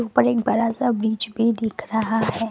उपर एक बड़ा सा ब्रिज भी दिख रहा है।